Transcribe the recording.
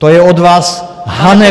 To je od vás hanebné.